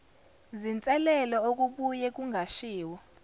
zinselelo okubuye kungashiwo